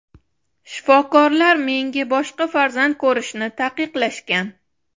Shifokorlar menga boshqa farzand ko‘rishni taqiqlashgan.